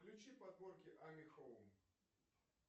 включи подборки ами хоум